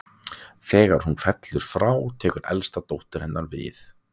Þegar hún fellur frá tekur elsta dóttir hennar við.